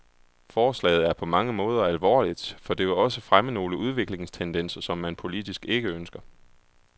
Forslaget er på mange måder alvorligt, for det vil også fremme nogle udviklingstendenser, som man politisk ikke ønsker.